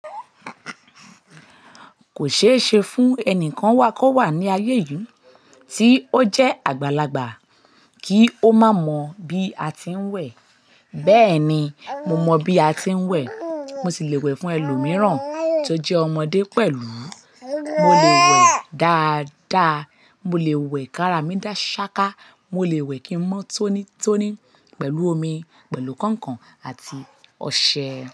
Kò ṣeé ṣe fún ẹnìkan wakọ̀wà ní ayé yìí tí ó jẹ́ àgbàlagbà kí ó má mọ̀ bí a ti ń wẹ̀. Bẹ́ẹ̀ni, mo mọ bí a ti ń wẹ̀. Mo sì lè wẹ̀ fún ẹlòmíràn tó jẹ́ ọmọdé pẹ̀lú. Mo lè wẹ̀ dáadáa. Mo lè wẹ̀ kárá mi dá ṣáká. Mo lè wẹ̀ kí ń mọ́ tónítóní pẹ̀lú omi, pẹ̀lú kọ̀nkọ̀n àti ọṣẹ.